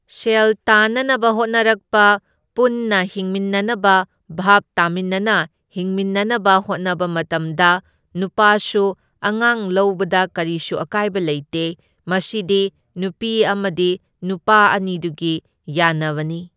ꯁꯦꯜ ꯇꯥꯟꯅꯅꯕ ꯍꯣꯠꯅꯅꯔꯛꯄ ꯄꯨꯟꯅ ꯍꯤꯡꯃꯤꯟꯅꯅꯕ ꯚꯥꯞ ꯇꯥꯃꯤꯟꯅꯅ ꯍꯤꯡꯃꯤꯟꯅꯅꯕ ꯍꯣꯠꯅꯕ ꯃꯇꯝꯗ ꯅꯨꯄꯥꯁꯨ ꯑꯉꯥꯡ ꯂꯧꯕꯗ ꯀꯔꯤꯁꯨ ꯑꯀꯥꯏꯕ ꯂꯩꯇꯦ, ꯃꯁꯤꯗꯤ ꯅꯨꯄꯤ ꯑꯃꯗꯤ ꯅꯨꯄꯥ ꯑꯅꯤꯗꯨꯒꯤ ꯌꯥꯟꯅꯕꯅꯤ꯫